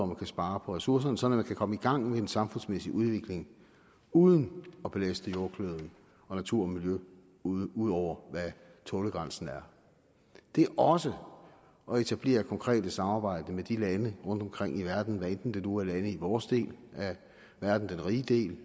man kan spare på ressourcerne sådan at man kan komme i gang med en samfundsmæssig udvikling uden at belaste jordkloden og natur og miljø ud ud over hvad tålegrænsen er det er også at etablere konkret samarbejde med lande rundtomkring i verden hvad enten det nu er lande i vores del af verden den rige del